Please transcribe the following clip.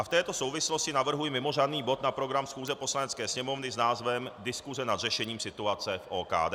A v této souvislosti navrhuji mimořádný bod na program schůze Poslanecké sněmovny s názvem Diskuse nad řešením situace v OKD.